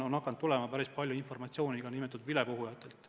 On hakanud tulema päris palju informatsiooni nn vilepuhujatelt.